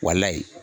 Walayi